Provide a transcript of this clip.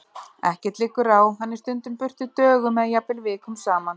Ekkert liggur á, hann er stundum burtu dögum eða jafnvel vikum saman.